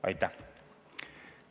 Aitäh!